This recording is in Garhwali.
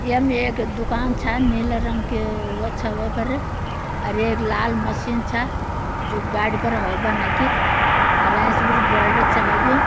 यम एक दुकान छ नीले रंग की वो छ वै पर अर एक लाल मशीन छ जु गाड़ि पर हौव भन्ना की अर एंच बिटि ब्वौलड़ छ लग्युं।